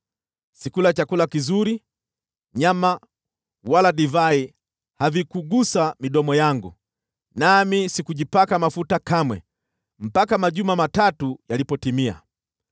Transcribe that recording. Sikula chakula kizuri; nyama wala divai havikugusa midomo yangu; nami sikujipaka mafuta kamwe mpaka majuma matatu yalipotimia.